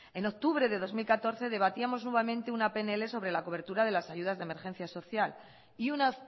en octubre de dos mil catorce debatíamos nuevamente una pnl sobre la cobertura de las ayudas de emergencia social y una